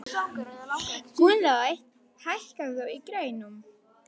Gunnlaug, hækkaðu í græjunum.